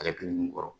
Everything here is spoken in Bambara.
Ale dun kɔrɔ